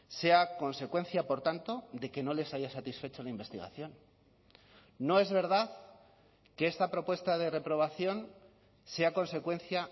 sea consecuencia por tanto de que no les haya satisfecho de investigación no es verdad que esta propuesta de reprobación sea consecuencia